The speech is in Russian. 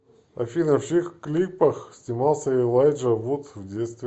афина в чьих клипах снимался элайджа вуд в детстве